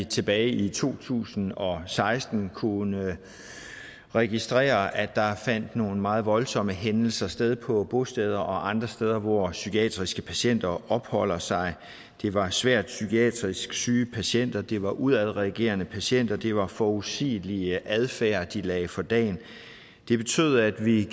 tilbage i to tusind og seksten kunne vi registrere at der fandt nogle meget voldsomme hændelser sted på bosteder og andre steder hvor psykiatriske patienter opholder sig det var svært psykiatrisk syge patienter det var udadreagerende patienter og det var uforudsigelig adfærd de lagde for dagen det betød at vi i